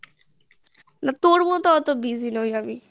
তোর মতো এত busy না ওই আমি